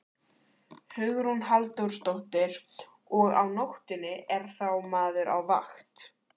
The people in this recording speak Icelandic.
Hugrún Halldórsdóttir: Og á nóttunni, er þá maður á vakt?